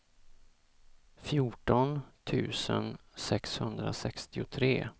fjorton tusen sexhundrasextiotre